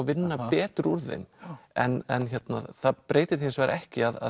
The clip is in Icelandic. vinna betur úr þeim en það breytir því hins vegar ekki að